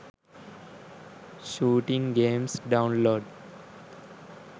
shooting games download